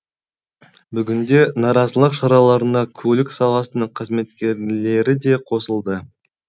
бүгінде наразылық шараларына көлік саласының қызметкерлері де қосылды